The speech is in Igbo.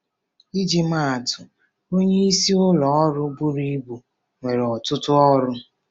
Iji maa atụ: Onyeisi ụlọ ọrụ buru ibu nwere ọtụtụ ọrụ.